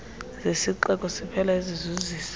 zesixeko siphela ezizuzisa